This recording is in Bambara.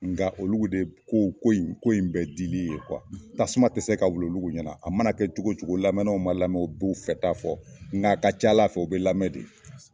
Nka olu de ye ko ko ko in dili ye tasuma tɛ se ka wulu olu ɲɛna a mana kɛ cogo cogo lamɛnnaw ma lamɛn o b'u fɛta fɔ nka a ka ca ALA fɛ u bɛ lamɛn de.